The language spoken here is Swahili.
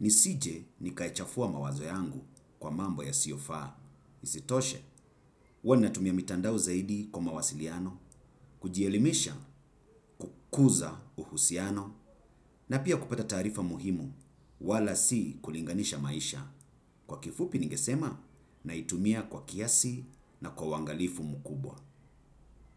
nisije nikaichafua mawazo yangu kwa mambo yasiofaa. Isitoshe huwa natumia mitandao zaidi kwa mawasiliano kujielimisha kukuza uhusiano na pia kupata taarifa muhimu wala si kulinganisha maisha kwa kifupi ningesema naitumia kwa kiasi na kwa uwangalifu mkubwa.